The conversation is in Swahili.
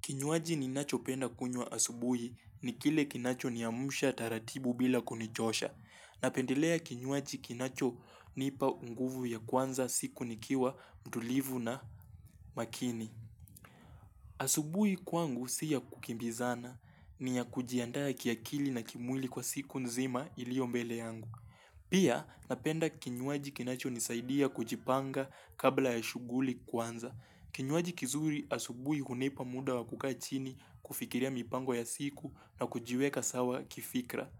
Kinywaji ni nacho penda kunywa asubuhi ni kile kinacho niamsha taratibu bila kunichosha. Napendelea kinywaji kinacho nipa nguvu ya kuanza siku nikiwa mtulivu na makini. Asubuhi kwangu siya kukimbizana niya kujiandaa kiakili na kimwili kwa siku nzima iliyo mbele yangu. Pia napenda kinywaji kinacho nisaidia kujipanga kabla ya shughuli kuanza. Kinywaji kizuri asubuhi hunipa muda wakukaa chini kufikiria mipango ya siku na kujiweka sawa kifikra.